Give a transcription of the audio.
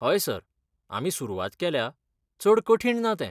हय सर, आमी सुरवात केल्या, चड कठीण ना तें.